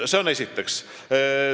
See on esiteks.